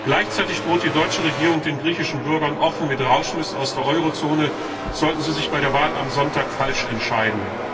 Gleichzeitig droht die deutsche Regierung den griechischen Bürgern offen mit Rausschmiss aus der Eurozone, sollten sie sich bei der Wahl am Sonntag falsch entscheiden.